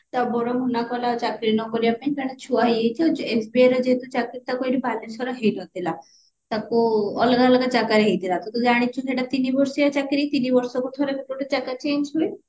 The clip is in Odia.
ତା ବଡ ଭଉଣୀ ନା କହିଲା ଚାକିରୀ ନ କରିବା ପାଇଁ ତାର ଛୁଆ ହେଇଯାଇଛି ତ SBI ରେ ଯେହେତୁ ଚାକିରୀ ତାକୁ ଏଇଠି ବାଲେଶ୍ବରରେ ହେଇ ନଥିଲା ତାକୁ ଅଲଗା ଅଲଗା ଜାଗାରେ ହେଇଥିଲା ତୁ ତ ଜାଣିଛୁ ସେଇଟା ତିନି ବର୍ଷିଆ ଚାକିରୀ ତିନି ବର୍ଷକୁ ଥରେ ଗୋଟେ ଜାଗା change ହୁଏ